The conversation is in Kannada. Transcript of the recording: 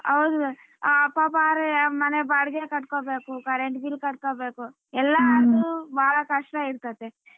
ಹೌದು ಅಹ್ ಪಾಪ ಅವ್ರ್ ಮನೆ ಬಾಡಗೆ ಕಟ್ಕೋಬೇಕು current bill ಕಟ್ಕೋಬೇಕು ಎಲ್ಲರ್ದು ಭಾಳ ಕಷ್ಟ ಇರತೈತೆ.